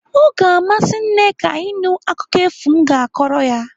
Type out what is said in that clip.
O ga-amasị Nneka ịnụ akụkọ efu m ga-akọrọ ya.